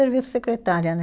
Serviço secretária, né?